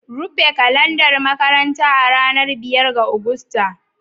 Rufe kalandar makaranta a ranar biyar ga Agusta!